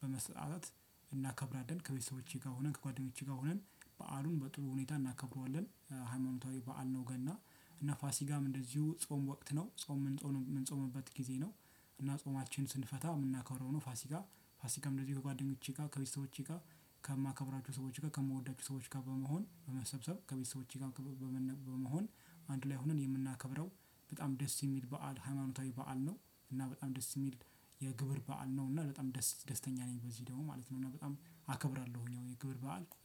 በመስጠት እናከብራለን ከቤተሰቦቼ ጋር ሆነን ከጓደኞቼ ጋር ሆነን በዓሉን በጥሩ ሁኔታ እናከብረዋለን። ሃይማኖታዊ በዓል ነው። ገና እና ፋሲጋም እንደዚሁ ጾም ወቅት ነው ጾም የምንጾምበት ጊዜ ነው። እና ጾማችን ስንፈታ የምናከረው ነው። ፋሲጋ ፋሲጋም እንደዚህ ከጓደኞቼ ጋር ከቤተሰቦቼ ጋር ከማከብራቸው ሰዎች ጋር ከምወዳቸው ሰዎች ጋር በመሆን በመሰብሰብ ከቤተሰቦቼ ጋር በመሆን አንዱ ላይ ሆነን የምናከብረው በጣም ደስ የሚል በዓል ሃይማኖታዊ በዓል ነው። እና በጣም ደስ የሚል የግብር በዓል ነው። እና በጣም ደስተኛ ነኝ። በዚህ ደግሞ ማለት ነው እና በጣም አከብራለሁኝ የግብር በዓል